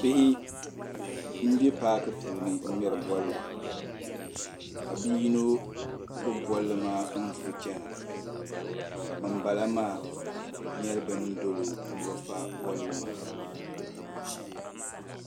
Bihi mbɛ paaki puuni n ŋmɛri bolli ka bi yino gbibi bolli maa n vuri chana ka bam bala maa yɛ bin dolo ni bi fa bolli maa